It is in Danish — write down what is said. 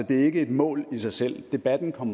det er ikke et mål i sig selv debatten kom